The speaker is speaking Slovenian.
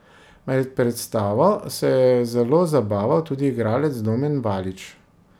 Med predstavo se je zelo zabaval tudi igralec Domen Valič.